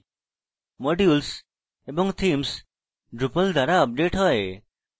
modules এবং themes drupal দ্বারা update হয়